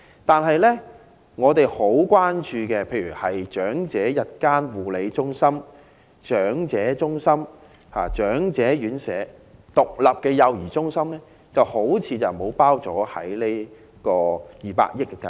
但是，我們十分關注的長者日間護理中心、長者中心、長者院舍及獨立幼兒中心似乎未有納入這項涉及200億元的計劃。